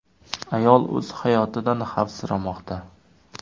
Ayol o‘z hayotidan xavfsiramoqda.